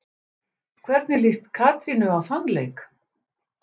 Hvernig líst Katrínu á þann leik?